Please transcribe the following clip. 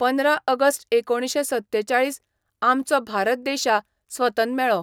पंदरा अगस्ट एकोणशें सत्तेचाळीस आमचो भारत देशा स्वतन मेळो.